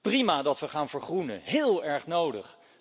Prima dat we gaan vergroenen, heel erg nodig.